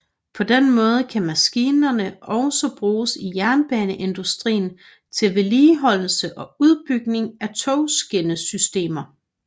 På den måde kan maskinerne også bruges i jernbaneindustrien til vedligeholdelse og udbygning af togskinnesystemer